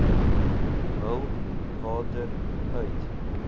hul water uit